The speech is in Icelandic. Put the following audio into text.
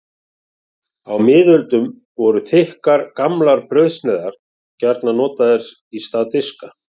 Á miðöldum voru þykkar, gamlar brauðsneiðar gjarnan notaðar í stað diska.